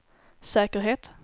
säkerhet